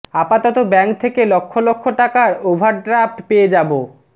আপাতত ব্যাঙ্ক থেকে লক্ষ লক্ষ টাকার ওভারড্রাফট পেয়ে যাবো